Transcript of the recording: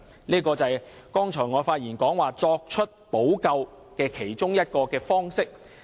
這便是我剛才發言所說作出補救的其中一個方式。